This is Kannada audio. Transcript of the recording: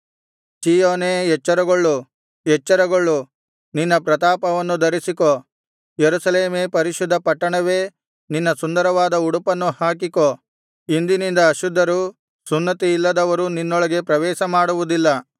ಚೀಯೋನೇ ಎಚ್ಚರಗೊಳ್ಳು ಎಚ್ಚರಗೊಳ್ಳು ನಿನ್ನ ಪ್ರತಾಪವನ್ನು ಧರಿಸಿಕೋ ಯೆರೂಸಲೇಮೇ ಪರಿಶುದ್ಧ ಪಟ್ಟಣವೇ ನಿನ್ನ ಸುಂದರವಾದ ಉಡುಪನ್ನು ಹಾಕಿಕೋ ಇಂದಿನಿಂದ ಅಶುದ್ಧರೂ ಸುನ್ನತಿಯಿಲ್ಲದವರೂ ನಿನ್ನೊಳಗೆ ಪ್ರವೇಶಮಾಡುವುದಿಲ್ಲ